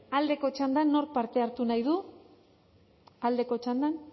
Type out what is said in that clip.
aldeko txandan nork parte hartu nahi du aldeko txandan